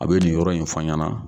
A be nin yɔrɔ in fɔ n ɲana